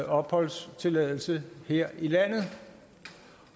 opholdstilladelse her i landet